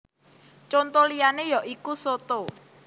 Conto liyané ya iku soto